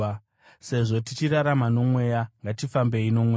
Sezvo tichirarama noMweya, ngatifambei noMweya.